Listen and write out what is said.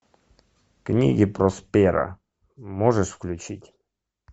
книги просперо можешь включить